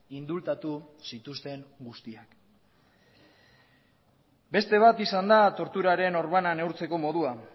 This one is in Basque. indultatu zituzten guztiak beste bat izan da torturaren orbana neurtzeko modua